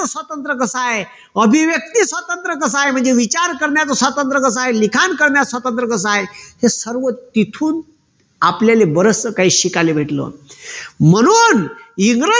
स्वातंत्र्य कस आहे अभिव्यक्ती स्वतंत्र कस आहे म्हणजे विचार करण्याचा स्वातंत्र कस आहे लिखाण करण्याचा स्वतंत्र कस आहे ती सर्व तिथून आपल्याला बरचसं काही शिकायला भेटलं. म्हणून इंग्रज